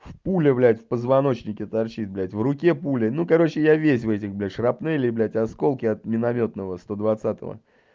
пуля блядь в позвоночнике торчит блядь в руке пуля ну короче я весь в этих блядь шрапнели блядь осколки от миномётного сто двадцатого